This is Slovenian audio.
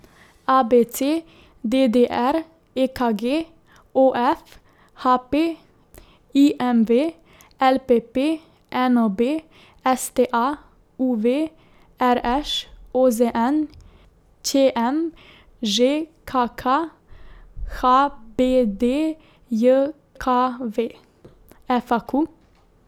A B C; D D R; E K G; O F; H P; I M V; L P P; N O B; S T A; U V; R Š; O Z N; Č M; Ž K K; H B D J K V; F A Q.